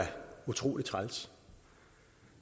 utrolig træls